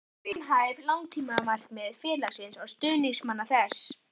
Hver eru raunhæf langtímamarkmið félagsins og stuðningsmanna þess?